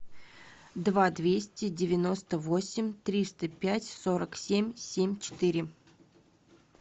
два двести девяносто восемь триста пять сорок семь семь четыре